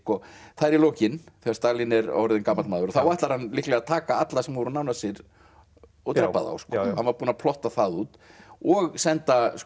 það er í lokin þegar Stalín er orðinn gamall maður að þá ætlar hann líklega að taka alla sem voru nánir sér og drepa þá sko hann var búinn að plotta það út og senda